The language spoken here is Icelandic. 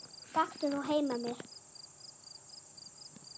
Gakktu þá heim með mér.